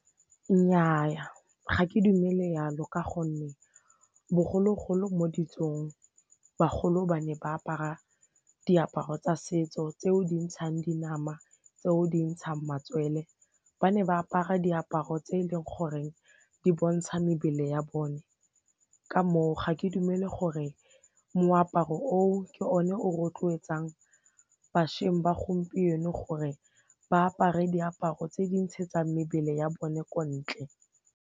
Nnyaa ga ke dumele yalo ka gonne bogologolo mo ditsong bagolo ba ne ba apara diaparo tsa setso tseo di ntshang dinama tseo di ntshang matswele, ba ne ba apara diaparo tse e leng gore di bontsha mebele ya bone ka moo ga ke dumele gore moaparo o o ke o ne o rotloetsang bašweng ba gompieno gore ba apare diaparo tse di ntshegetsang mebele ya bone ko ntle.